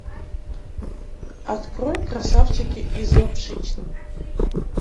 открой красавчики из лапшичной